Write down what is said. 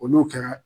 Olu kɛra